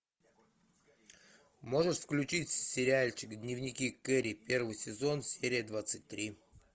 можешь включить сериальчик дневники кэрри первый сезон серия двадцать три